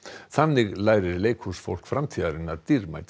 þannig lærir leikhúsfólk framtíðarinnar dýrmæta